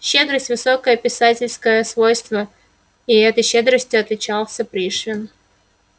щедрость высокое писательское свойство и этой щедростью отличался пришвин